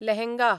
lehenga